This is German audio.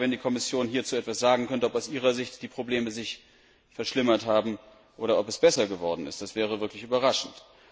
Ich wäre dankbar, wenn die Kommission hierzu etwas sagen könnte, ob die Probleme sich aus ihrer Sicht verschlimmert haben oder ob es besser geworden ist. Das wäre wirklich überraschend.